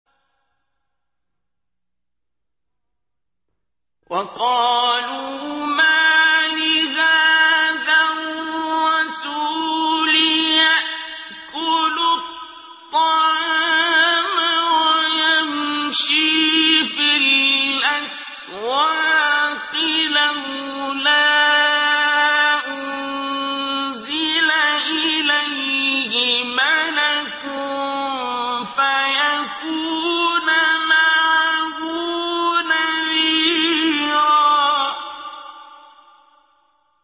وَقَالُوا مَالِ هَٰذَا الرَّسُولِ يَأْكُلُ الطَّعَامَ وَيَمْشِي فِي الْأَسْوَاقِ ۙ لَوْلَا أُنزِلَ إِلَيْهِ مَلَكٌ فَيَكُونَ مَعَهُ نَذِيرًا